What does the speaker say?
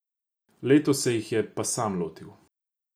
Letos se jih je pa sam lotil.